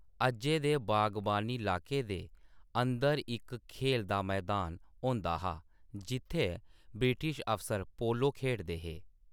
अज्जै दे बागवानी इलाके दे अंदर इक खेल दा मैदान होंदा हा जि`त्थै ब्रिटिश अफसर पोलो खेढदे हे।